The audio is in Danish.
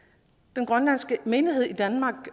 den grønlandske menighed i danmark